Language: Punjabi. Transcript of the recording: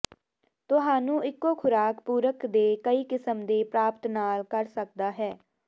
ਤੁਹਾਨੂੰ ਇੱਕੋ ਖੁਰਾਕ ਪੂਰਕ ਦੇ ਕਈ ਕਿਸਮ ਦੇ ਪ੍ਰਾਪਤ ਨਾ ਕਰ ਸਕਦਾ ਹੈ